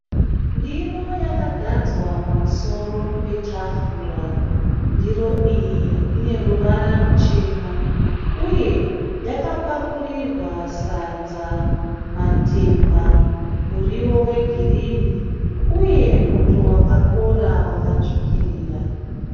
Ndiro yakagadzwa pamusoro petafura. Ndiro iyi ineruvara ruchena uye yakapakurirwa sadza, matemba, muriwo wegirinhi uye muto wakakora wakatsvukirira.